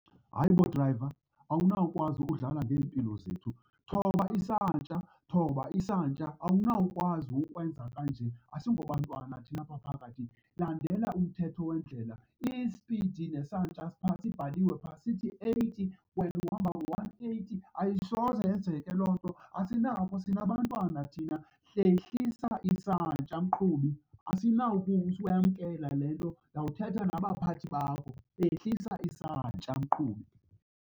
Hayi bo, drayiva, awunawukwazi ukudlala ngeempilo zethu. Thoba isantya, thoba isantya! Awunawukwazi ukwenza kanje, asingobantwana thina apha phakathi. Landela umthetho wendlela. Isipidi nesantya siphaa, sibhaliwe phaa sithi eighty, wena uhamba ngo-one eighty. Ayisoze yenzeke loo nto, asinako, sinabantwana thina. Hlehlisa isantya mqhubi, asinawukuyamkela le nto, ndawuthetha nabaphathi bakho. Hlehlisa isantya mqhubi.